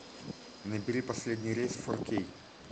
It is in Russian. набери последний рейс фор кей